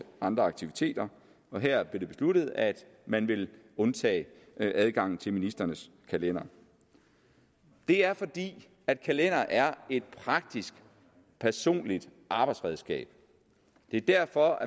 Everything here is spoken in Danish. andre aktiviteter og her blev det besluttet at man ville undtage adgangen til ministrenes kalendere det er fordi kalendere er et praktisk personligt arbejdsredskab det er derfor